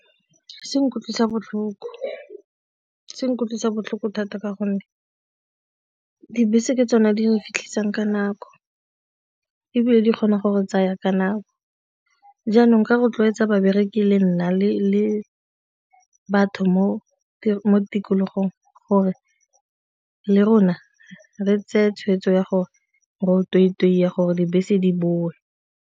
Se nkutlwisa botlhoko thata ka gonne dibese ke tsone di re fitlhisang ka nako ebile di kgona go re tsaya ka nako, jaanong ka rotloetsa babereki le nna le batho mo tikologong gore le rona re nne tse tshweetso ya gore fifty gore dibese di boe.